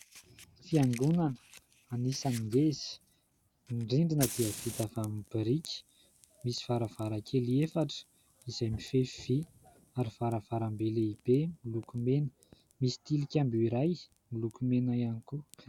Fiangonana anisan'ny ngeza. Ny rindrina dia vita avy amin'ny biriky, misy varavarankely efatra izay mifefy vy ary varavarambe lehibe miloko mena. Misy tilikambo iray miloko mena ihany koa.